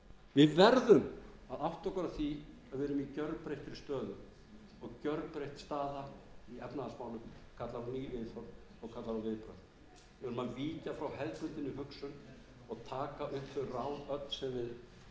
við veðrum að átta okkur á því að við erum í gerbreytt stöðu og gerbreytt staða í efnahagsmálum kallar á ný viðhorf og kallar á við verðum að víkja